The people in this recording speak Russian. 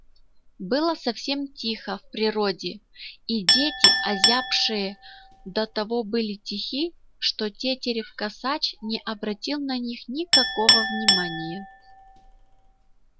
было совсем тихо в природе и дети озябшие до того были тихи что тетерев косач не обратил на них никакого внимания